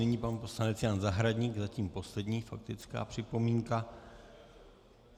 Nyní pan poslanec Jan Zahradník, zatím poslední faktická připomínka.